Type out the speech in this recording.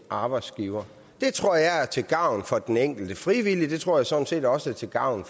arbejdsgiver det tror jeg er til gavn for den enkelte frivillige og det tror jeg sådan set også er til gavn